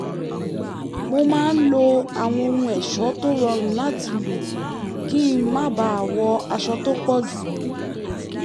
mo máa ń lo àwọn ohun ẹ̀ṣọ́ tó rọrùn láti lò kí n má bàa wọ aṣọ tó pọ̀ jù